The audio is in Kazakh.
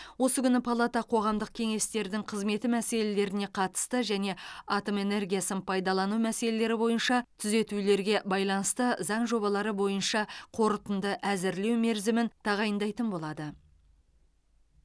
осы күні палата қоғамдық кеңестердің қызметі мәселелеріне қатысты және атом энергиясын пайдалану мәселелері бойынша түзетулерге байланысты заң жобалары бойынша қорытынды әзірлеу мерзімін тағайындайтын болады